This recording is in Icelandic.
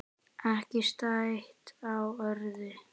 Ekki stætt á öðru.